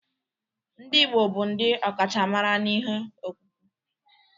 Ndị Igbo bụ ndị ọkachamara n'ihe ọkpụkpụ